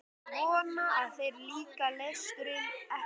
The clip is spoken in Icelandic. Ég vona að þér líki lesturinn ekki allt of vel.